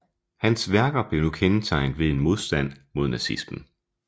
Hans værker blev nu kendetegnet ved en modstand mod nazismen